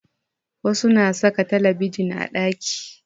Wasu na saka talabijin a ɗaki